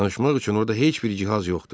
Danışmaq üçün orda heç bir cihaz yoxdur.